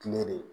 de